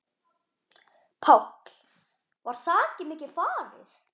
Páll: Var þakið mikið farið?